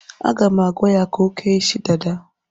Aga m agwa ya ka o kee isi dada.